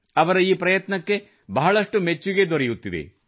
ಅವರ ಈ ಪ್ರಯತ್ನಕ್ಕೆ ಬಹಳಷ್ಟು ಮೆಚ್ಚುಗೆ ದೊರೆಯುತ್ತಿದೆ